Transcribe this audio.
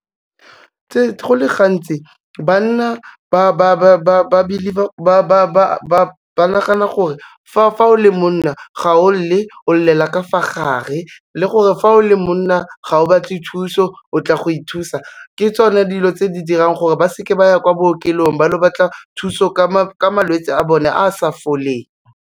Go le gantsi banna ba nagana gore, fa o le monna, ga o lele, o lelela ka fa gare, le gore fa o le monna ga o batle thuso o tla go ithusa, ke tsone dilo tse di dirang gore ba seke ba ya kwa bookelong ba lo batla thuso ka malwetse a bone a sa foleng.